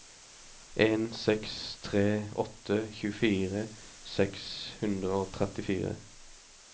en seks tre åtte tjuefire seks hundre og trettifire